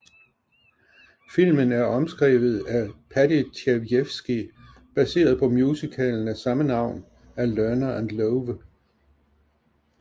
Filmen er omskrevet af Paddy Chayefsky baseret på musicalen af samme navn af Lerner and Loewe